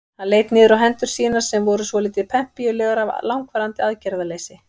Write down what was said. Hann leit niður á hendur sínar sem voru svolítið pempíulegar af langvarandi aðgerðarleysi.